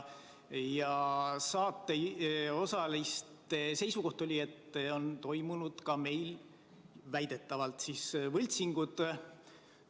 Saates osalenute seisukoht oli, et väidetavalt on toimunud ka meil võltsinguid.